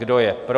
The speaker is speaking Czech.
Kdo je pro?